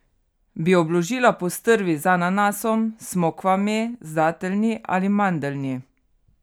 Bi obložila postrvi z ananasom, s smokvami, z dateljni ali mandeljni?